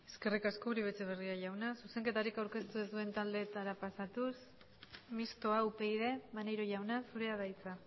eskerrik asko uribe etxeberria jauna zuzenketarik aurkeztu ez duten taldeetara pasatuz mistoa upyd maneiro jauna zurea da hitza